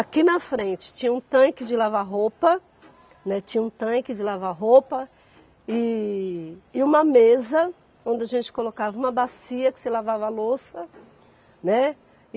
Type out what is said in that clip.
Aqui na frente tinha um tanque de lavar roupa, né, tinha um tanque de lavar roupa e e uma mesa onde a gente colocava uma bacia que você lavava louça, né. E